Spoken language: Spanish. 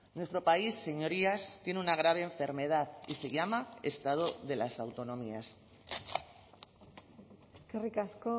nuestro país señorías tiene una grave enfermedad y se llama estado de las autonomías eskerrik asko